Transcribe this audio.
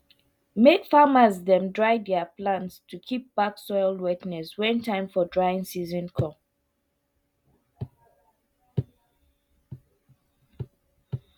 make farmers dem dry their plants to keep back soil wetness when time for drying season come